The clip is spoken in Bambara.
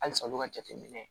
Halisa olu ka jateminɛ